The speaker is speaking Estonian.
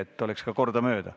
Parem on, kui vastataks kordamööda.